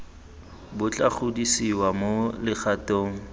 bo tla godisiwa mo legatong